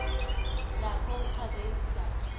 yakho uchaze isizathu